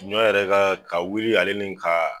Ɲɔ yɛrɛ kaa ka wuli ale ni kaa